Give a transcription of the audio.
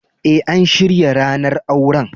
Eh, an shirya ranan auren.